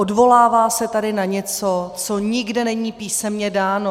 Odvolává se tady na něco, co nikde není písemně dáno.